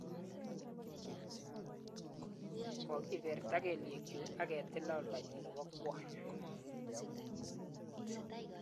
Kogiberta kelyekchuuk aketila oldanyu nebo kwony